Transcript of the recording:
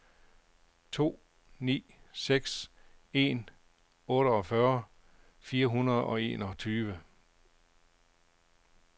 to ni seks en otteogfyrre fire hundrede og enogtyve